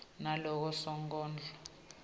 ngaloko sonkondlo lakhuluma